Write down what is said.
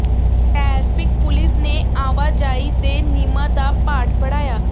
traffic police ਨੇ ਆਵਾਜਾਈ ਦੇ ਨਿਯਮਾਂ ਦਾ ਪਾਠ ਪੜ੍ਹਾਇਆ